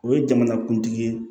O ye jamanakuntigi ye